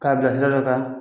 K'a bila sira dɔ kan